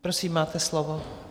Prosím, máte slovo.